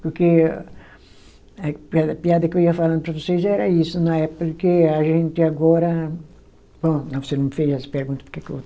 Porque a piada piada que eu ia falando para vocês era isso, na época que a gente agora, bom, você não me fez essa pergunta porque que eu vou